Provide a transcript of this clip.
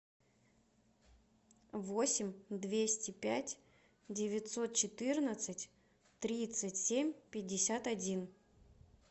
восемь двести пять девятьсот четырнадцать тридцать семь пятьдесят один